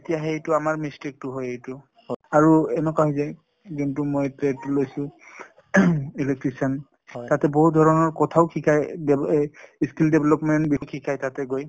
তেতিয়াহে এইটো আমাৰ mistake টো হয় এইটো আৰু এনেকুৱা হৈ যায় যোনটো মই trade লৈছো electrician তাতে বহুত ধৰনৰ কথাও শিকায় দে এ skill development বিষয়ে শিকায় তাতে গৈ